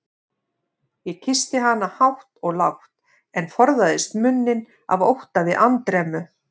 Ég kyssti hana hátt og lágt, en forðaðist munninn af ótta við andremmu.